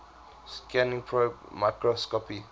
scanning probe microscopy